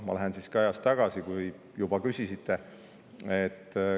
Ma lähen siis ka ajas tagasi, kui te juba küsisite.